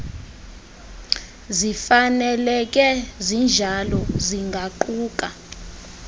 zifaneleke zinjalo zingaquka